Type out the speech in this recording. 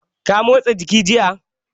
Ka motsa jiki jiya?